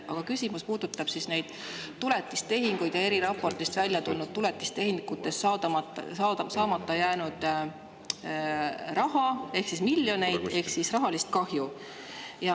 Aga küsimus puudutab neid tuletistehinguid ja eriraportist välja tulnud tuletistehingutest saamata jäänud raha ehk miljoneid rahalist kahju.